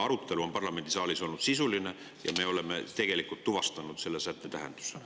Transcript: Arutelu on parlamendisaalis olnud sisuline ja me oleme tegelikult tuvastanud selle sätte tähenduse.